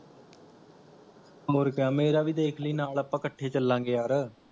ਹੋਰ ਕਿਆ ਮੇਰਾ ਵੀ ਦੇਖਲੀ ਨਾਲ ਆਪਾਂ ਇਕੱਠੇ ਚਲਾਂਗੇ ਯਾਰ